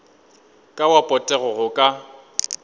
ka wa potego go ka